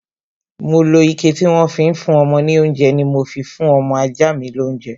Mo lo ike tí wọ́n fi ń fún ọmọ ní oúnjẹ ni mo fi fún ọmọ ajá mi lounje